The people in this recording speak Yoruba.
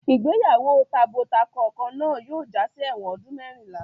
Ìgbéyàwó tabo-takọ kan náà yóò jásí ẹ̀wọ̀n ọdún mẹ́rìnlá.